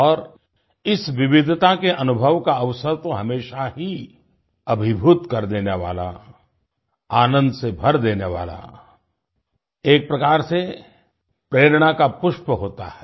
और इस विविधता के अनुभव का अवसर तो हमेशा ही अभीभूत कर देने वाला आनंद से भर देने वाला एक प्रकार से प्रेरणा का पुष्प होता है